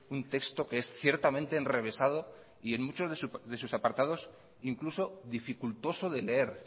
un texto que es ciertamente enrevesado y en muchos de sus apartados incluso dificultoso de leer